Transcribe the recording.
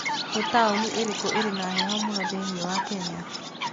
Nĩ taũni ĩrĩkũ ĩrĩ na heho mũno thĩinĩ wa Kenya?